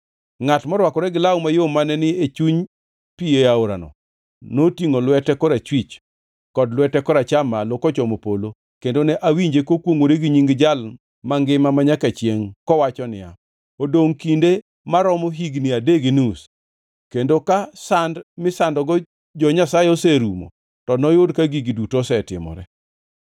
Ngʼat morwakore gi law mayom mane ni e chuny pi aorano, notingʼo lwete korachwich kod lwete koracham malo kochomo polo, kendo ne awinje kokwongʼore gi Nying Jal Mangima Manyaka Chiengʼ; kowacho niya, “Odongʼ kinde maromo higni adek gi nus kendo ka sand misandogo jo-Nyasaye oserumo to noyud ka gigi duto osetimore.”